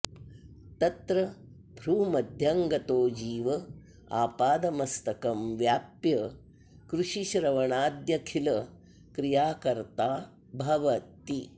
तत्र भ्रूमध्यं गतो जीव आपादमस्तकं व्याप्य कृषिश्रवणाद्यखिलक्रियाकर्ता भवति